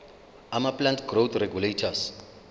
amaplant growth regulators